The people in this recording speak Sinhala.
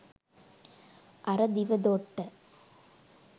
අර දිව දොට්ට